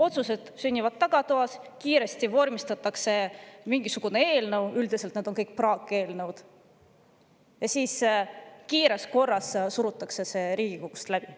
Otsused sünnivad tagatoas, kiiresti vormistatakse mingisugune eelnõu – üldiselt need on kõik praakeelnõud – ja siis kiires korras surutakse see Riigikogus läbi.